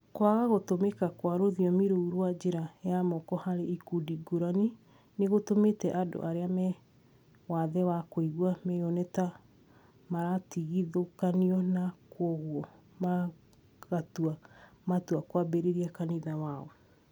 kwaga gũtũmĩka kwa rũthiomi rũu rwa njĩra ya moko harĩ ikundi ngũrani nĩgũtũmĩte andũ arĩa me wathe wa kũigua meyone ta maratigithũkanio na kwoguo magatua matua kũambĩrĩria kanitha wao